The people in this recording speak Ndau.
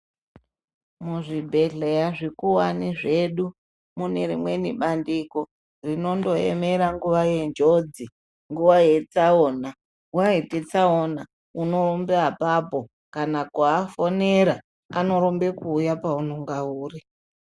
Muzvibhedhleya zvikuwane zvedu mune rimweni bandiko rinondoemera nguwa yenjodzi nguwa yetsaona waite tsaona unorumbe apapo kana kuafonera anorumbe kuuye paunenga uri.